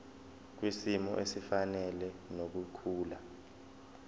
kwisimo esifanele nokukhula